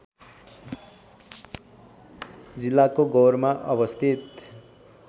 जिल्लाको गौरमा अवस्थित